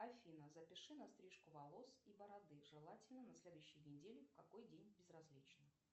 афина запиши на стрижку волос и бороды желательно на следующей неделе в какой день безразлично